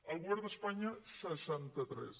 el govern d’espanya seixanta tres